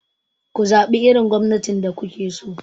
Ku zaɓi irin gwamnatin da kuke so!